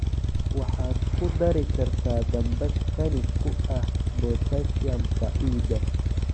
Waxaad ku dari kartaa dambas qani ku ah potassium-ka ciidda.